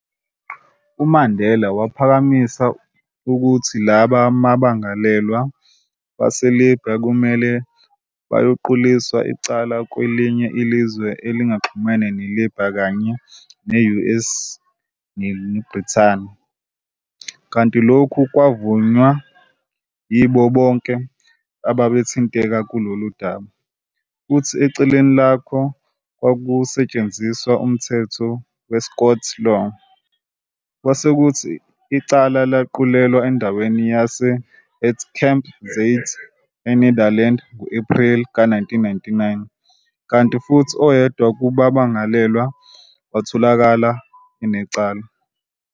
UMandela waphakamisa ukuthi laba bammangalelwa baseLibya kumele bayoquliswa icala kwelinye izwe elingaxhumene neLibya kanye ne-US neBrithani, kanti lokhu kwavunywa yibo bonke ababethinteka kulolu daba, futhi ecaleni lakho kwakuzosetshenziswa umthetho we-Scots law, kwasekuthi icala laqulelwa endaweni yase- at Camp Zeist e-Netherlands ngo-Epreli ka 1999, kanti futhi oyedwa kubammangalelwa watholwa enecala.